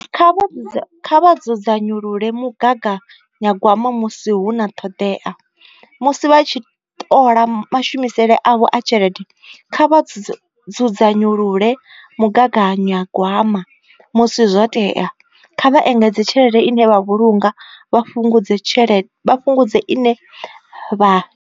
Kha vha dzudzanyulule mugaganyagwama musi hu na ṱhoḓea musi vha tshi ṱola mashumisele avho a tshelede, kha vha dzudzanyulule mugaganyagwama musi zwo tea, kha vha engedze tshelede ine vha vhulunga vha fhungudze ine vha.